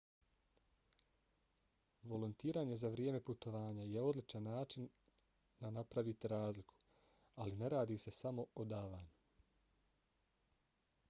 volontiranje za vrijeme putovanja je odličan način na napravite razliku ali ne radi se samo o davanju